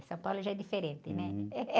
São Paulo já é diferente, né?